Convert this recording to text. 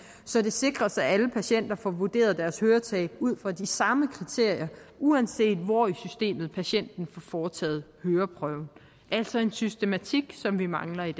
så det sikres at alle patienter får vurderet deres høretab ud fra de samme kriterier uanset hvor i systemet patienten får foretaget høreprøven altså en systematik som vi mangler i